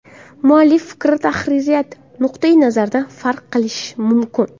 Muallif fikri tahririyat nuqtai nazaridan farq qilishi mumkin.